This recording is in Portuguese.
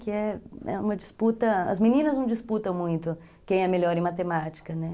Que é uma disputa... As meninas não disputam muito quem é melhor em matemática, né?